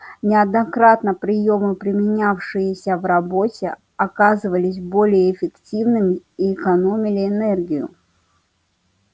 неоднократно приёмы применявшиеся в работе оказывались более эффективными и экономили энергию